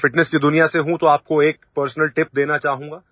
मैं फिटनेस की दुनिया से हूँ तो आपको एक पर्सनल टिप देना चाहूँगा